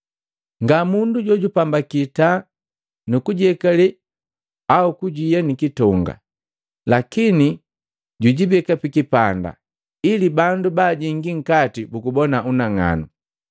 “Nga mundu jojupambaki taa nu kujiyekale au kuiya nikitonga, lakini jujibeka pikipanda ili bandu baajingi nkati bugubona unang'anu.